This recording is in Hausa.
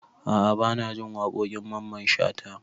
A'a banajin waƙoƙin mamman shata